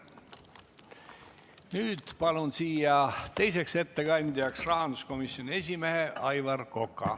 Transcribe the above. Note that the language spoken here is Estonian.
Nüüd palun siia teiseks ettekandjaks rahanduskomisjoni esimehe Aivar Koka.